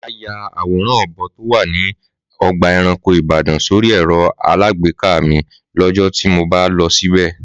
Màá ya àwòrán ọ̀bo to wà ní ọgbà ẹranko Ìbàdàn sórí ẹ̀rọ alágbèéká mi lọ́jọ́ tí mo bá lọ síbẹ̀